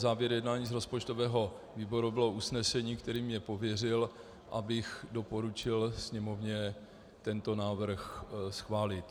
Závěr z jednání rozpočtového výboru bylo usnesení, kterým mě pověřil, abych doporučil Sněmovně tento návrh schválit.